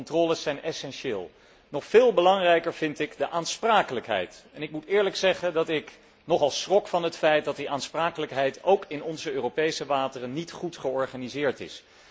Die controles zijn essentieel. Nog veel belangrijker vind ik de aansprakelijkheid, en ik moet eerlijk zeggen dat ik nogal schrok van het feit dat die aansprakelijkheid ook in onze Europese wateren niet goed georganiseerd is.